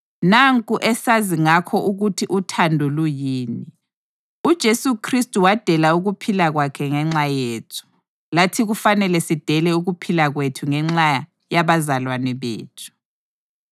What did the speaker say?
Nanku esazi ngakho ukuthi uthando luyini: UJesu Khristu wadela ukuphila kwakhe ngenxa yethu. Lathi kufanele sidele ukuphila kwethu ngenxa yabazalwane bethu.